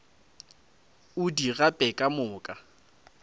o di gape ka moka